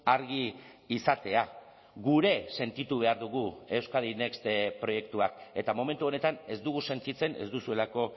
argi izatea gure sentitu behar dugu euskadi next proiektuak eta momentu honetan ez dugu sentitzen ez duzuelako